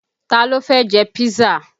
Ta ló fẹ́ jẹ písà?